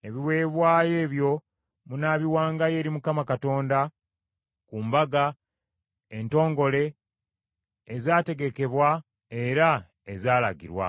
“Ebiweebwayo ebyo munaabiwangayo eri Mukama Katonda ku mbaga entongole ezaategekebwa era ezaalagirwa;